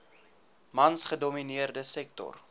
mans gedomineerde sektor